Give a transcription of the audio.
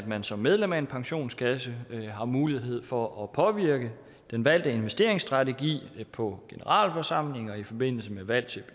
man som medlem af en pensionskasse har mulighed for at påvirke den valgte investeringsstrategi på generalforsamlinger i forbindelse med valg af